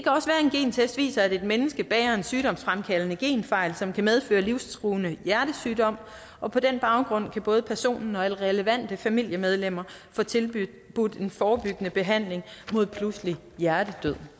gentest viser at et menneske bærer en sygdomsfremkaldende genfejl som kan medføre livstruende hjertesygdom og på den baggrund kan både personen og relevante familiemedlemmer få tilbudt en forebyggende behandling mod pludselig hjertedød